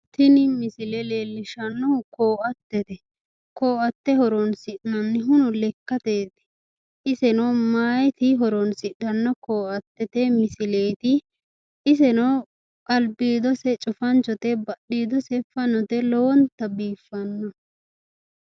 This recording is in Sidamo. Tini misile leellishshannohu koo"attete koo"atte horonsi'nannihu lekkateeti iseno mayiiti horonsidhanno koo"attete misileeti iseno albiidose cufanchote badhiidose fanote lowonta biiffanno.